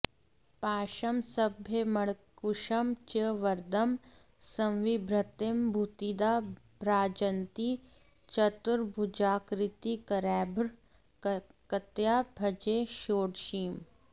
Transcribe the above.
पाशं साभयमङ्कुशं च वरदं संविभ्रतीं भूतिदा भ्राजन्तीं चतुरम्बुजाकृतिकरैर्भक्त्या भजे षोडशीम्